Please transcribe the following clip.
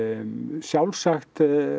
sjálfsagt